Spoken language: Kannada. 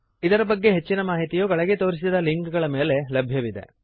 ಇದರ ಬಗ್ಗೆ ಹೆಚ್ಚಿನ ಮಾಹಿತಿಯು ಕೆಳಗೆ ತೋರಿಸಿದ ಲಿಂಕ್ ಗಳ ಮೇಲೆ ಲಭ್ಯವಿದೆ